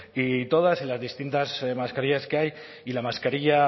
y todas y las distintas mascarillas que hay y la mascarilla